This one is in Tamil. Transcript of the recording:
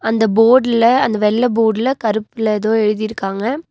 அந்த போர்டுல அந்த வெள்ள போர்டுல கருப்புல ஏதோ எழுதிருக்காங்க.